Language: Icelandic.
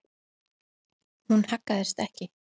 Hún haggaðist ekki.